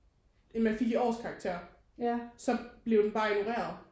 End man fik i årskarakter så blev den bare ignoreret